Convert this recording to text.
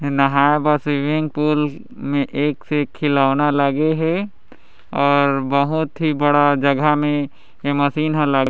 ये नहाय भर स्विमिंग पूल मे एक से एक खिलौना लगे है और बहोत ही बड़ा जगह मे ये मशीन हला--